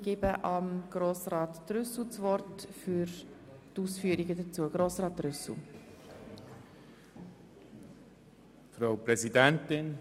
Ich erteile Grossrat Trüssel für die Ausführungen zu diesem Geschäft das Wort.